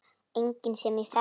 Enginn sem ég þekki.